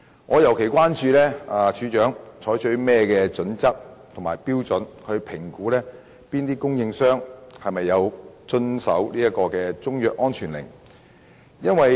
我尤其關注署長採取甚麼準則及標準，以評估中藥商有否遵從中藥安全令。